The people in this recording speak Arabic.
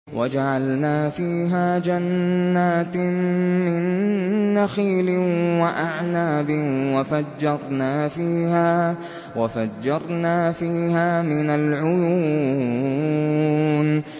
وَجَعَلْنَا فِيهَا جَنَّاتٍ مِّن نَّخِيلٍ وَأَعْنَابٍ وَفَجَّرْنَا فِيهَا مِنَ الْعُيُونِ